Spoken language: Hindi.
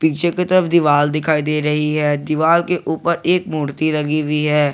पीछे की तरफ दीवार दिखाई दे रही है दीवार के ऊपर एक मूर्ति लगी हुई है।